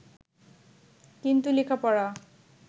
কিন্তু লেখাপড়া